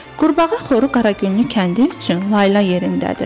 Qurbağa xoru Qaragüllü kəndi üçün layla yerindədir.